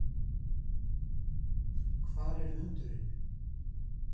Hvar er hundurinn?